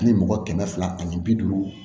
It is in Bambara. Ani mɔgɔ kɛmɛ fila ani bi duuru